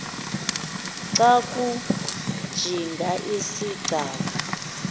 xa kujinga isigcawu